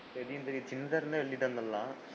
தெரியும் தெரியும் finger ல எழுதிட்டன்னு சொன்னான்.